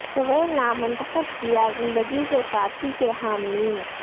طویل نام منتخب کیا زندگی کے ساتھی کے حاملین